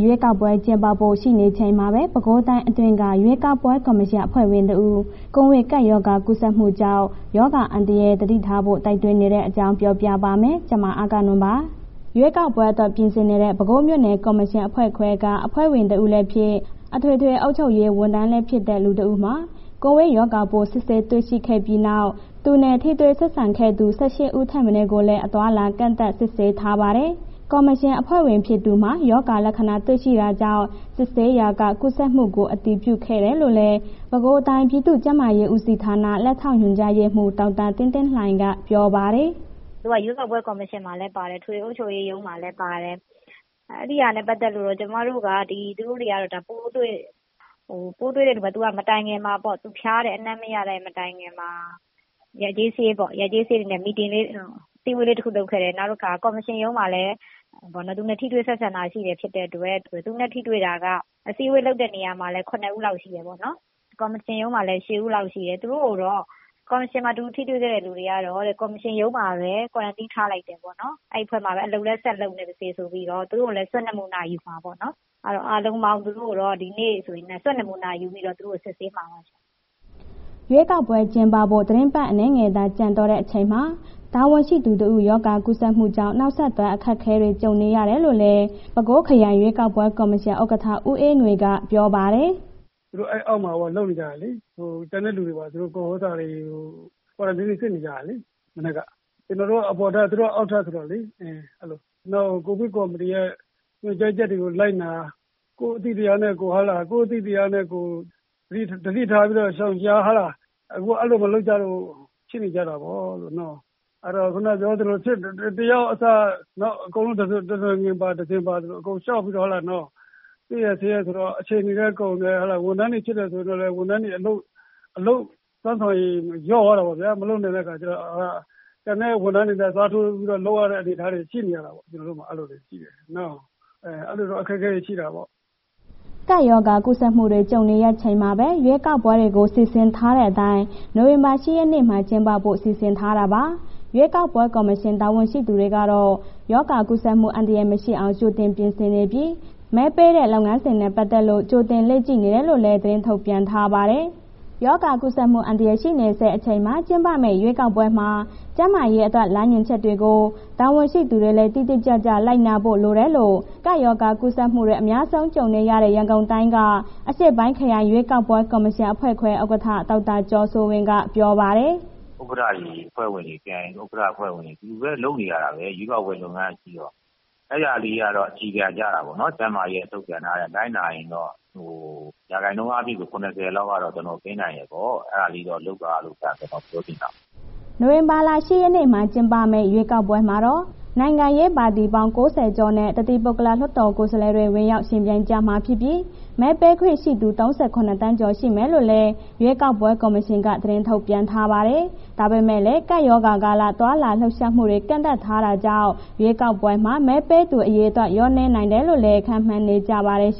ရွေးကောက်ပွဲ ကျင်းပဖို့ ရှိနေချိန်မှာပဲ ပဲခူးတိုင်းအတွင်းက ရွေးကောက်ပွဲ ကော်မရှင်အဖွဲ့ဝင်တဦး ကိုဗစ်ကပ်ရောဂါ ကူးစက်မှုကြောင့် ကပ်ရောဂါအန္တရာယ် သတိထားဖို့ တိုက်တွန်းနေတဲ့အကြောင်းကို ဗွီအိုအေမြန်မာပိုင်း သတင်းထောက် မအဂ္ဂနွန်က ပြောပြပါမယ်။ ရွေးကောက်ပွဲအတွက် ပြင်ဆင်နေတဲ့ ပဲခူးမြို့နယ်ကော်မရှင်အဖွဲ့ခွဲက အဖွဲ့ဝင် တဦးလည်းဖြစ်၊ အထွေထွေအုပ်ချုပ်ရေး ဝန်ထမ်းလည်းဖြစ်တဲ့ လူ ၁ ယောက်မှာ ကိုဗစ်ရောဂါပိုး စစ်ဆေးတွေ့ရှိခဲ့ပြီးနောက် သူနဲ့ ထိတွေ့ဆက်ဆံခဲ့သူ ၁၈ ဦးထက် မနည်းကိုလည်း အသွားအလာ ကန့်သတ် စစ်ဆေးထားပါတယ်။ ကော်မရှင်အဖွဲ့ဝင် ဖြစ်သူမှာ ရောဂါလက္ခဏာတွေ့ရှိတာကြောင့် စစ်ဆေးရာက ကူးစက်မှုကို အတည်ပြုခဲ့တာလို့လည်း ပဲခူးတိုင်း ပြည်သူ့ကျန်းမာရေးဦးစီးဌာန လက်ထောက်ညွှန်ကြားရေးမှူး ဒေါက်တာသင်းသင်းလှိုင်က ပြောပါတယ်။ “သူက ရွေးကောက်ပွဲကော်မရှင်မှာလည်း ပါတယ်။ အထွေထွေအုပ်ချုပ်ရေးရုံးမှာလည်း ပါတယ်။ အဲ့ဒီဟာနဲ့ ပတ်သက်ပြီး သူတို့တွေက ပိုးတွေ့၊ ပိုးတွေ့တဲ့လူက မတိုင်ခင်မှာပေါ့ သူဖျားတယ်။ အနံ့မရတဲ့ မတိုင်ခင်မှာ ရပ်ကျေး စာရေးပေါ့ အစည်းအဝေးတစ်ခု လုပ်ခဲ့တယ်။ နောက်တစ်ခါ ကော်မရှင်ရုံးမှာလည်း သူနဲ့ ထိတွေ့ဆက်ဆံတာ ရှိတာဖြစ်တဲ့အတွက် အစည်းအဝေးလုပ်တဲ့ နေရာလည်း ၇ ယောက်လောက်ရှိတယ်။ ကော်မရှင်ရုံးလည်း ၈ ယောက်လောက်ရှိတယ်။ သူတို့ကိုတော့ ကော်မရှင်မှာ သူ ထိတွေ့ခဲ့တဲ့ လူတွေကတော့ ကော်မရှင်ရုံးမှာပဲ ကွာရန်တင်းထားလိုက်တယ်ပေါ့နော်၊ အဲ့အဖွဲ့မှာပဲ အလုပ်လည်း ဆက်လုပ်နေပါစေဆိုပြီးတော့ သူတို့ကိုလည်း Swab နမူနာယူမှာပေ့ါနော်။ အားလုံးပေါင်း သူတို့ကိုတော့ ဒီနေ့ Swab ဆိုရင် နမူနာယူပြီးတော့ သူတို့ကို စစ်ဆေးမှာပါရှင်။” ရွေးကောက်ပွဲ ကျင်းပဖို့ သီတင်းပတ် အနည်းငယ်သာ ကျန်တော့တဲ့အချိန်မှာ တာဝန်ရှိသူတဦး ရောဂါကူးစက်မှုကြောင့် နောက်ဆက်တွဲ အခက်အခဲတွေ ကြုံနေရတယ်လို့လည်း ပဲခူးခရိုင် ရွေးကောက်ပွဲကော်မရှင် ဥက္ကဋ္ဌ ဦးအေးငွေက ပြောပါတယ်။ “သူတို့ အဲ့အောက်မှာ လုပ်နေကြတယ်လေ။ ကျန်တဲ့လူတွေ ကွာရန်တင်းတွေ စစ်နေကြတယ်လေ.. မနက်က။ ကျနော်တို့ အပေါ်ထပ်သူတို့ အောက်ထပ်ဆိုတော့လေ။ နောက် ကိုဗစ်ကော်မတီရဲ့ ညွန်ကြားချက်တွေ လိုက်နာ ကိုယ်အသိတရားနဲ့ ကိုယ် ရှောင်ရှား။ အခု အဲ့ဒီလို မလုပ်ကြလို့ဖြစ်နေကြတာပေါ့၊ အဲ့ဒီတော့ ခုဏပြောသလို တစ်ယောက်အစ နောက်အကုန်လုံး တနွယ်ငင် တစင်ပါဆိုသလို အကုန်လျှောက်ပြီးတော့ တွေ့ရ စစ်ရဆိုတော့ အချိန်တွေလည်း ကုန်တယ်။ ဝန်ထမ်းဖြစ်တယ်ဆိုရင်တော့ ဝန်ထမ်းတွေ အလုပ်စွမ်းဆောင်ရည် လျော့သွားတာပေါ့ဗျာ။ မလုပ်နိုင်တဲ့အခါ ကျတော့ ကျန်တဲ့ ဝန်ထမ်းတွေနဲ့ အစားထိုးလုပ်ရတဲ့ အနေအထားတွေရှိနေတာပေါ့... ကျနော်တို့မှာ အဲ့ဒီလိုတွေရှိတယ်။ အဲဒီလိုတော့ အခက်အခဲတွေရှိတယ်ပေါ့။” ကပ်ရောဂါကူးစက်မှုတွေ ကြုံနေရချိန်မှာပဲ ရွေးကောက်ပွဲတွေကို စီစဉ်ထားတဲ့အတိုင်း နိုဝင်ဘာလ ၈ ရက်နေ့မှာ ကျင်းပဖို့ စီစဉ်ထားတာပါ။ ရွေးကောက်ပွဲ ကော်မရှင် တာဝန်ရှိသူတွေကတော့ ရောဂါကူးစက်မှု အန္တရာယ်မရှိအောင် ကြိုတင်ပြင်ဆင်နေပြီး မဲပေးတဲ့ လုပ်ငန်းစဉ်နဲ့ ပတ်သက်လို့ ကြိုတင်လေ့ကျင့်နေတယ်လို့လည်း သတင်းထုတ်ပြန်ထားပါတယ်။ ရောဂါကူးစက်မှု အန္တရာယ် ရှိနေဆဲ အချိန်မှာ ကျင်းပမယ့် ရွေးကောက်ပွဲမှာ ကျန်းမာရေးအတွက် လမ်းညွှန်ချက်တွေကို တာဝန်ရှိသူတွေလည်း တိတိကျကျ လိုက်နာဖို့ လိုတယ်လို့ ကပ်ရောဂါ ကူးစက်မှုတွေ အများဆုံး ကြုံနေရတဲ့ ရန်ကုန်တိုင်းက အရှေ့ပိုင်းခရိုင် ရွေးကောက်ပွဲ ကော်မရှင်အဖွဲ့ခွဲ ဥက္ကဋ္ဌ ဒေါက်တာကျော်စိုးဝင်းက ပြောပါတယ်။ “ဥက္ကဋ္ဌတွေ အဖွဲ့ဝင်တွေ ခရိုင်ဥက္ကဋ္ဌ အဖွဲ့ဝင်တွေ တူတူပဲ လုပ်နေရတာပဲ ရွေးကောက်ပွဲလုပ်ငန်းကရှိတော့ အဲ့ဒါလေးကတော့ အခြေခံကျတာပေါ့နော်။ ကျန်းမာရေးထုတ်ပြန်ထားတဲ့အတိုင် လိုက်နာရင်တော့ ရာခိုင်နှုန်းအားဖြင့်ကတော့ ၇၀ လောက်ကတော့ ကင်းနိုင်တယ်ပေါ့၊ အဲ့ဒါလေးတော့ လုပ်ပါလို့ ကျနော်ပြောချင်တာပေါ့။” နိုဝင်ဘာလ ၈ ရက်နေ့မှာ ကျင်းပမယ့် ရွေးကောက်ပွဲမှာတော့ နိုင်ငံရေးပါတီပေါင်း ၉၀ ကျော်နဲ့ တသီးပုဂ္ဂလ လွှတ်တော်ကိုယ်စားလှယ်တွေ ဝင်ရောက်ယှဉ်ပြိုင်ကြမှာဖြစ်ပြီး မဲပေးခွင့်ရှိသူ ၃၇ သန်းကျော် ရှိမယ်လို့လည်း ရွေးကောက်ပွဲ ကော်မရှင်က သတင်းထုတ်ပြန်ထားပါတယ်။ ဒါပေမဲ့လည်း ကပ်ရောဂါကာလ သွားလာလှုပ်ရှားမှုတွေ ကန့်သတ်ထားတာကြောင့် ရွေးကောက်ပွဲမှာ မဲပေးသူအရေအတွက် လျော့နည်းနိုင်တယ်လို့လည်း ခန့်မှန်းနေကြပါတယ်။